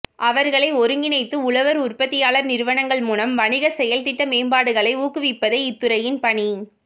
அவர்களை ஒருங்கிணைத்து உழவர் உற்பத்தியாளர் நிறுவனங்கள் மூலம் வணிக செயல்திட்ட மேம்பாடுகளை ஊக்குவிப்பதே இத்துறையின் பணி